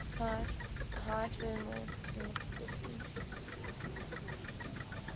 high thermal emissivity